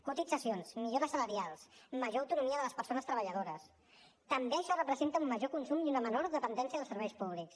cotitzacions millores salarials major autonomia de les persones treballadores també això representa un major consum i una menor dependència dels serveis públics